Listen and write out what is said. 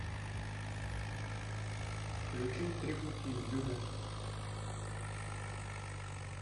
включить три пути люмен